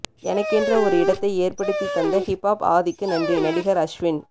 எனக்கென்று ஒரு இடத்தை ஏற்படுத்தி தந்த ஹிப் ஆப் ஆதிக்கு நன்றி நடிகர் அஸ்வின்